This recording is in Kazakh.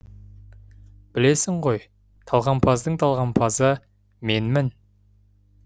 білесің ғой талғампаздың талғампазы менмін